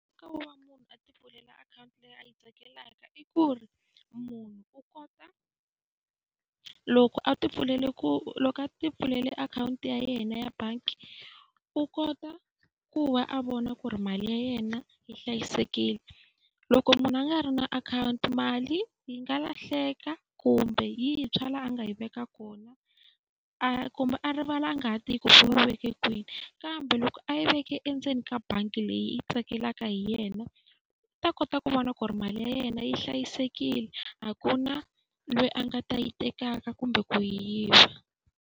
Nkoka wo va munhu a ti pfulela akhawunti leyi a yi tsakelaka i ku ri munhu u kota loko a ti pfulela ku loko a ti pfulela akhawunti ya yena ya bangi, u kota ku va a vona ku ri mali ya yena yi hlayisekile. Loko munhu a nga ri na akhawunti mali yi nga lahleka kumbe yi tshwa laha a nga yi veka kona, kumbe a rivala a nga ha tivi ku u yi veke kwini. Kambe loko a yi veke endzeni ka bangi leyi yi tsakelaka hi yena, u ta kota ku vona ku ri mali ya yena yi hlayisekile a ku na loyi a nga ta yi tekaka kumbe ku yi yiva.